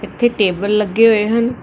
ਇਥੇ ਟੇਬਲ ਲੱਗੇ ਹੋਏ ਹਨ।